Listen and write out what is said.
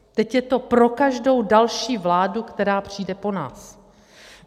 Teď je to pro každou další vládu, která přijde po nás.